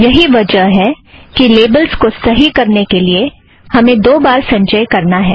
यही वजह है कि लेबलस् को सही करने के लिए हमें दो बार संचय करना है